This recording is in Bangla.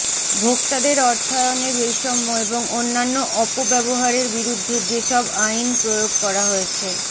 ভোক্তাদের অর্থায়নের বৈষম্য এবং অন্যান্য অপব্যবহারের বিরুদ্ধে যেসব আইন প্রয়োগ করা হয়েছে